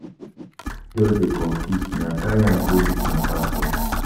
Di mata just dey confuse me I carry am go meet my pastor.